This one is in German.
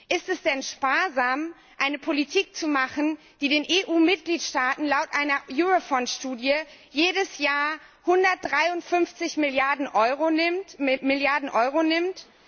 Ist es denn sparsam, eine Politik zu machen, die den EU Mitgliedstaaten laut einer Eurofound Studie jedes Jahr 153 Milliarden Euro nimmt?